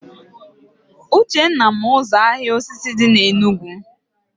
Uchenna ma ụzọ ahịa osisi dị na Enugu